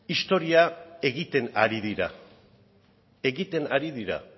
historia egiten ari dira egiten ari dira